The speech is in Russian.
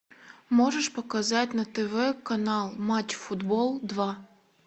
можешь показать на тв канал матч футбол два